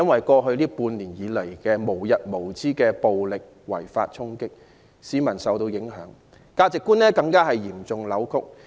過去半年無日無之的違法暴力衝擊，令市民受到影響，價值觀更被嚴重扭曲。